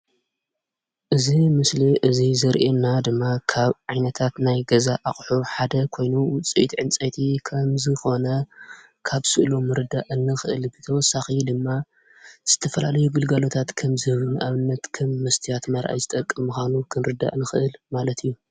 አዚ ምስሊ እዚ ዘርእየና ድማ ካብ ዓይነታት ናይ ገዛ ኣቑሑ ሓደ ኮይኑ ውፅኢት ዕንፀይቲ ከምዝኾነ ካብ ስእሉ ምርዳእ ንኽእል፡፡ ብተወሳኺ ድማ ዝተፈላለዩ ግልጋሎታት ከምዝህብ ንኣብነት ከም መስትያት መርኣዪ ዝጠቅም ምዃኑ ክንርዳእ ንኽእል ማለት እዩ፡፡